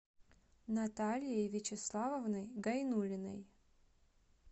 натальей вячеславовной гайнуллиной